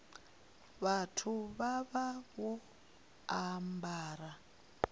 vhathu vha vha vho ambara